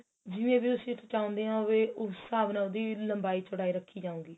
ਜਿਵੇਂ ਵੀ ਉਹ ਵਿੱਚ ਚਾਉਂਦੇ ਆ ਵੀ ਉਹ ਹਿਸਾਬ ਨਾਲ ਉਹਦੀ ਲੰਬਾਈ ਚੋੜਾਈ ਰੱਖੀ ਜਾਉ ਗੀ